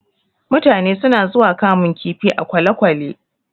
Mutane suna zuwa kamun kifi a kwalekwale